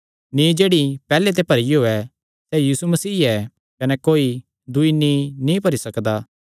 नींई जेह्ड़ी पैहल्ले ते भरियो ऐ सैह़ यीशु मसीह ऐ कने कोई दूई नींई नीं भरी सकदा